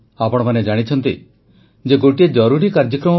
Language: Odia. ପାର୍ବଣ ଋତୁରେ କୋଭିଡ ସଚେତନତା ପାଇଁ ଦେଶବାସୀଙ୍କୁ ପ୍ରଧାନମନ୍ତ୍ରୀଙ୍କ ଆହ୍ୱାନ